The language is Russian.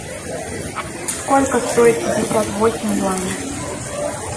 сколько стоит пятьдесят восемь юаней